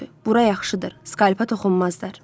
Bura yaxşıdır, skalpa toxunmazlar.